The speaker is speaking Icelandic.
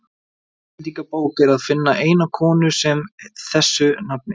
í íslendingabók er að finna eina konu með þessu nafni